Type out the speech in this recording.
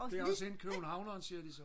det også hende købernhavneren siger de så